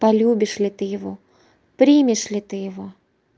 полюбишь ли ты его примешь ли ты его